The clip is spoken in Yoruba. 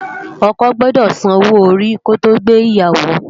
Òkò gbòdò sànwó óri ki ó to gbé iyàwó